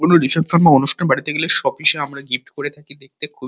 কোনো রিসেপশন বা অনুষ্ঠান বাড়িতে গেলে সোপিসে আমরা গিফট করে থাকি দেখতে খুবই--